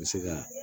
N bɛ se ka